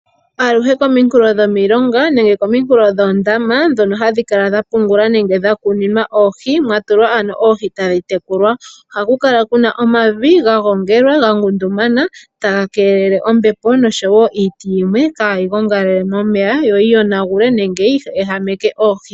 Aluhe kominkulo dhomilonga nenge kominkulo dhoondama mono hamu kala mwapungulwa nenge mwakunimwa oohi tadhi tekulwa ohakukala kuna omavi gagongelwa, gangundumana taga keelele ombepo noshowo iiti yaha gongalele momeya yoyi yonagule nenge yi ehameke oohi.